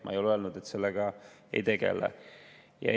Ma ei ole öelnud, et me sellega ei tegele.